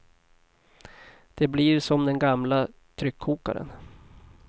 Det blir som den gamla tryckkokaren.